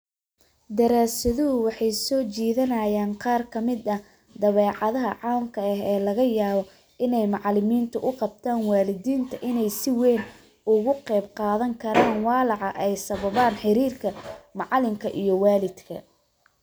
Daraasaduhu waxay soo jeedinayaan qaar ka mid ah dabeecadaha caamka ah ee laga yaabo inay macalimiintu u qabtaan waalidiinta inay si weyn uga qayb qaadan karaan walaaca ay sababaan xiriirka macalinka iyo waalidka